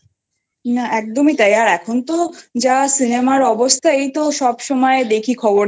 না একদমই তাই আর এখন তো যা Cinema অবস্থা এই তো সবসময় দেখি খবরে